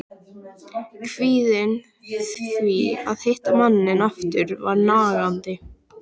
Kvíðinn yfir því að hitta manninn aftur var nagandi.